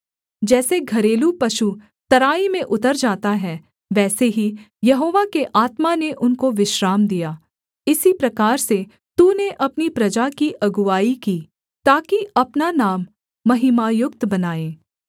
जैसे घरेलू पशु तराई में उतर जाता है वैसे ही यहोवा के आत्मा ने उनको विश्राम दिया इसी प्रकार से तूने अपनी प्रजा की अगुआई की ताकि अपना नाम महिमायुक्त बनाए